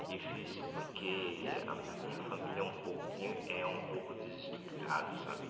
É difícil porque a a minha família é um pouquinho é um pouco desestruturada, sabe?